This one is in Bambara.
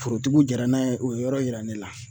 Forotigiw jɛra n'a ye o yɔrɔ yira ne la